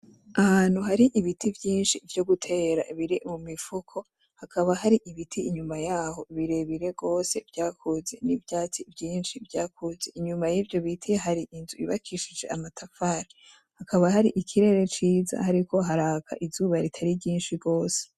Ahantu hari ibiti vyinshi vyo gutera biri mu mifuko, hakaba hari ibiti inyuma yaho birebire gose vyakuze, n'ivyatsi vyinshi vyakuze. Inyuma y'ivyo biti hari inzu yubakishije amatafari, hakaba hari ikirere ciza hariko haraka izuba ritari ryinshi gose.